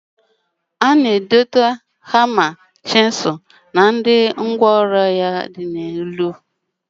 O na- edote hama, huru, chizul na ngwa oru ya ndi ozo n'elu ya.